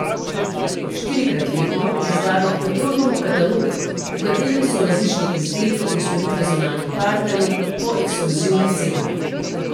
Štirikrat letno izdajo Petrol klub katalog, v katerem so različni izdelki in storitve zunanjih partnerjev po ekskluzivnih cenah.